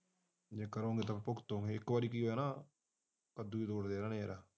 ਨਿਕਲੋਗੇ ਤਾਂ ਯਾਰ ਭੁਗਤੋਗੇ ਇਕ ਵਾਰ ਕੀ ਹੋਇਆ ਇਹਨਾਂ ਨੇ ਕੱਦੂ ਤੋੜ ਲਿਆ